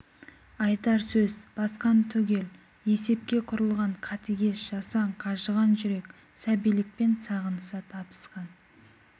айтар сөз басқан түгел есепке құрылған қатыгез қасаң қажыған жүрек сәбилікпен сағыныса табысқан